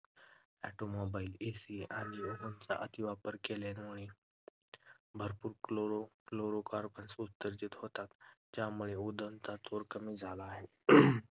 Automobile AC आणि ozone चा अतिवापर केल्याने भरपूर chlorofluorocarbons उत्सर्जित होतात ज्यामुळे ozone चा थर कमी होतो.